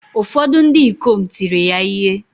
Ụfọdụ ndị ikom tiri ya ihe